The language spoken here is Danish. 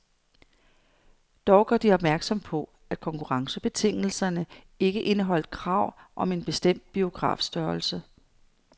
Dog gør de opmærksom på, at konkurrencebetingelserne ikke indeholdt krav om en bestemt biografstørrelse.